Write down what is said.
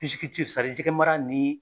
jɛgɛkɛ mara ni